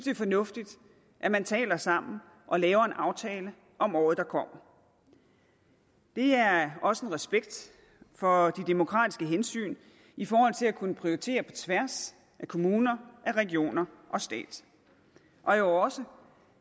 er fornuftigt at man taler sammen og laver en aftale om året der kommer det er også en respekt for de demokratiske hensyn i forhold til at kunne prioritere på tværs af kommuner regioner og stat og jo også